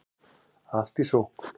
Allt í sókn